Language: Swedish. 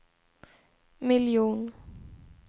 miljon